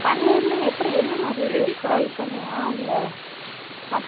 பன்னீர்ன்னா எப்படி? என்ன மாதிரி fry panniya ? இல்லை, மசாலா.